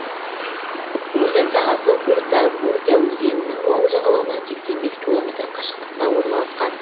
өзен сағасы уртабуртя өзенінің оң жағалауынан сексен бес километр қашықтықта орналасқан